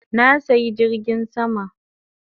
Na saya jirgin sama